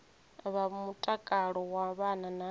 vha mutakalo wa vhana na